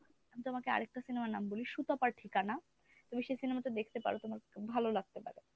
আমি তোমাকে আরেকটা cinema র নাম বলি সুতপার ঠিকানা। তুমি সে cinema টা দেখতে পারো তোমার ভালো লাগতে পারে।